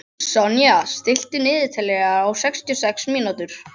Sonja, stilltu niðurteljara á sextíu og sex mínútur.